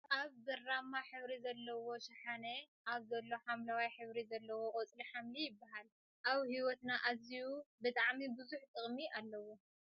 ኣብ ብራማ ሕብሪ ዘለዎ ሽሓነ ኣብ ዘሎ ሓምለዋይ ሕብሪ ዘለዎ ቆፅሊ ሓምሊ ይብሃል ። ኣብ ሂወትና ኣዝዩ ብጣዕሚ ብዙሕ ጥቅሚ ኣለዎ።